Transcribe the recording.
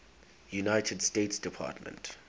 united states department